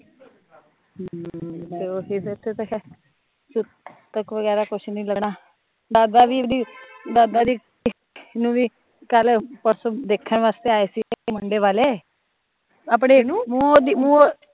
ਹਮ ਬਗੈਰਾ ਕੁਜ ਨੀ ਲਾਉਨਾ ਦਾਦਾ ਜੀ ਨੂ ਵੀ ਕਹਿ ਲੀਓ ਪਰਸੋਂ ਦੇਖਣ ਵਾਸਤੇ ਆਏ ਸੀਗੇ ਮੁੰਡੇ ਵਾਲੇ ਆਪਣੇ ਨੂ